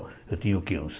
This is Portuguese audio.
Eu tinha o que uns